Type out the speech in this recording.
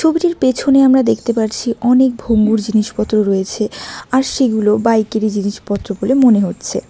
ছবিটির পেছনে আমরা দেখতে পারছি অনেক ভঙ্গুর জিনিসপত্র রয়েছে আর সেগুলো বাইক -এরই জিনিসপত্র বলে মনে হচ্ছে।